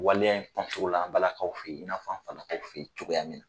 Waleya in la an balakaw fɛ yen, i n'a fɔ an falaakaw fɛ yen cogoya min na.